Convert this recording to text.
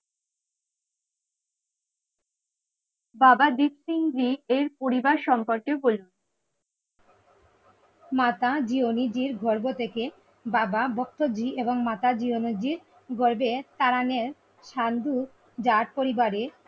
বাবা দ্বীপ সিংজি এর পরিবার সম্পর্কে বলি মাতা জিওনী জীর গর্ভ থেকে বাবা ভক্ত জি এবং মাতা জিওনজি গর্ভে তারানের সান্ধু জাট পরিবারে